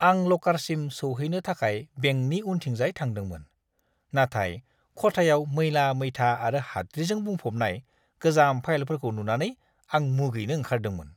आं ल'कारसिम सौहैनो थाखाय बेंकनि उनथिंजाय थांदोंमोन, नाथाय खथायाव मैला-मैथा आरो हाद्रिजों बुंफबनाय गोजाम फाइलफोरखौ नुनानै आं मुगैनो ओंखारदोंमोन!